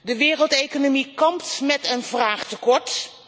De wereldeconomie kampt met een vraagtekort.